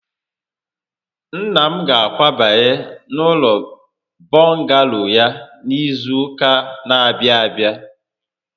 Nna m ga-akwabanye n'ụlọ bọngalo ya n'izu ụka n'abịa abịa